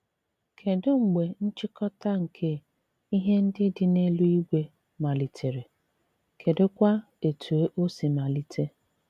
Kedụ mgbe nchịkọta nke “ ihe ndị dị n’eluigwe ” malitere ,Kedụkwa etù o si malite?